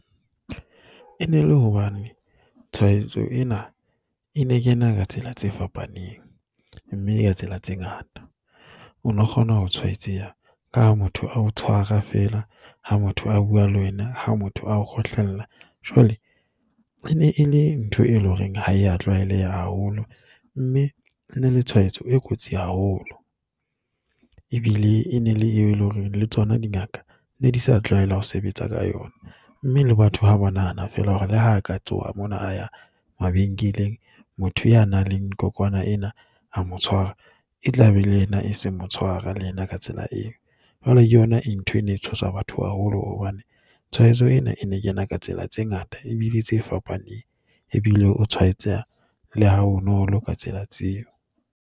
E ne le hobane tshwaetso ena e ne kena ka tsela tse fapaneng mme ka tsela tse ngata. O no kgona ho tshwaetseha ha motho a o tshwara feela, ha motho a bua le wena. Ha motho a o kgohlella. Jwale e ne e le ntho e leng hore ha ya tlwaeleha haholo mme e ne le tshwaetso e kotsi haholo. Ebile e ne e le eleng hore le tsona di ngaka ne di sa tlwaela ho sebetsa ka yona. Mme le batho ha ba nahana feela hore le ha ka tsoha mona ya mabenkeleng, motho ya nang le nna kokwana ena a mo tshwara, e tlabe le ena e seng mo tshwara le ena ka tsela eo. Jwale ke yona e ntho e ne tshosa batho haholo hobane tshwaetso ena e ne kena ka tsela tse ngata ebile tse fapaneng, ebile o tshwaetseha ha bonolo ka tsela tseo.